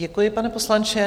Děkuji, pane poslanče.